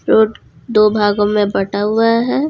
Root दो भागों में बांटा हुआ है।